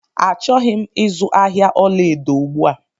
Achọghị m izu ahịa ọla edo ugbu a